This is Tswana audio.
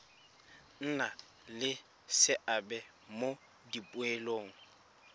nna le seabe mo dipoelong